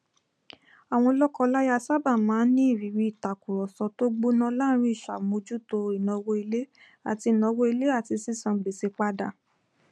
àwọn lọkọláya sábà máa n ní ìrírí ìtàkurọsọ tó gbóná lórí ìṣàmójútó ìnáwó ilé àti ìnáwó ilé àti sísan gbèsè padà